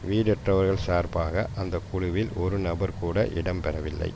வீடற்றவர்கள் சார்பாக அந்த குழுவில் ஒரு நபர் கூட இடம் பெறவில்லை